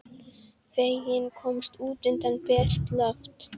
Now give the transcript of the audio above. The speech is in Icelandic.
Feginn að komast út undir bert loft.